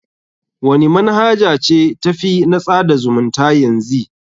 Wani manhaja ce ta fi na tsada zumunta yanzy?